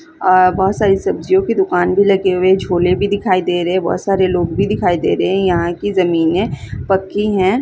अ बहोत सारी सब्जियों की दुकान भी लगी है झोले भी दिखाई दे रहे हैं बहोत सारे लोग भी दिखाई दे रहे हैं यहाँ की जमीने पक्की है।